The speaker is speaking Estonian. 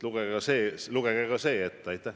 Lugege ka see ette.